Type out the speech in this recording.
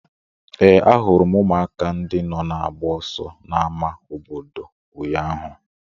Ee, ahụrụ m ụmụaka ndị nọ na-agba ọsọ n'ámá obodo ụnyaahụ.